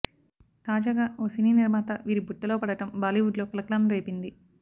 తాజాగా ఓ సినీ నిర్మాత వీరి బుట్టలో పడటం బాలీవుడ్లో కలకలం రేపింది